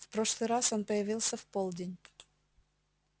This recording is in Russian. в прошлый раз он появился в полдень